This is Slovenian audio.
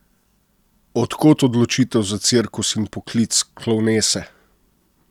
Od kod odločitev za cirkus in poklic klovnese?